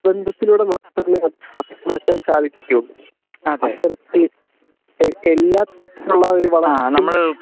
ബന്ധത്തിലൂടെ മാത്രമേ അത് മാറ്റാൻ സാധിക്കുകയുള്ളൂ അത്തരത്തിൽ എല്ലാ തരത്തിലുള്ള ഒരു വളർച്ചയ്ക്കും